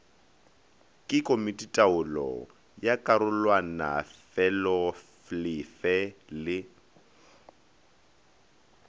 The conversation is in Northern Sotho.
ke komititaolo ya karolwanafeloolefe le